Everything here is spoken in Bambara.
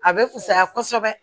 A bɛ fusaya kosɛbɛ